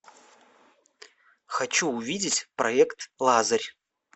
хочу увидеть проект лазарь